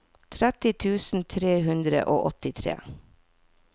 tretti tusen tre hundre og åttitre